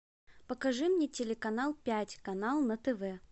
покажи мне телеканал пять канал на тв